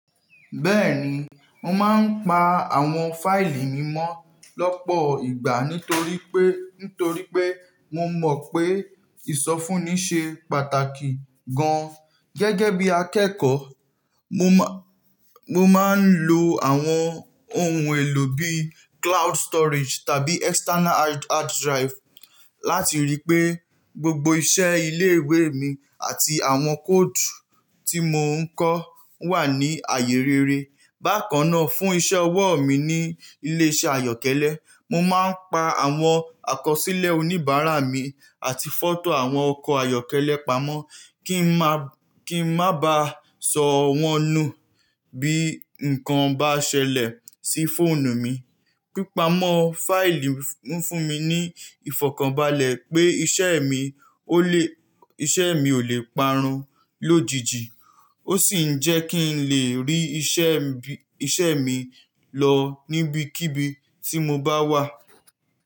Bẹ́ẹ̀ni, mò máa ń pa àwọn fáìlì mi mọ́ lọ́pọ̀ ìgbà nítorí pé, nítorí pé mo mọ̀ pé ìsọfúnni ṣe pàtàkì gan. Gẹ́gẹ́ bí akẹ́kọ̀ọ́, mo má, mo máa ń lo àwọn ohun èlò bí cloud storage tàbí external hard, hard drive láti ríi pé gbogbo iṣẹ́ ilé ìwé mi àti àwọn kóòdù tí mò ń kọ wà ní àyè rere. Bákan náà, fún iṣẹ́ ọwọ́ mi ní ilé iṣẹ́ àyọ́kẹ́lẹ́, mo máa ń pa àwọn àkọsílẹ̀ oníbàárà mi àti fọ́tò àwọn ọkọ̀ ayọ́kẹ́lẹ́ pamọ́ kí n má, kí n má ba sọ wọ́n nu bí ǹkan bá ṣẹlẹ̀ sí fóònù mi. Pípamọ́ fáìlì ń fún mi ní ìfọ̀kànbalẹ̀ pé iṣẹ́ mi ó lè, iṣẹ́ mi ò lè parun lójijì ó sì ń jẹ́ kí n lè rí iṣẹ́ mi, iṣẹ́ mi lọ níbikíbi tí mo bá wà.